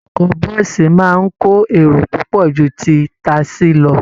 Ọkọ bọ́ọ̀sì máa ń kó èrò púpọ̀ ju ti tasí lọ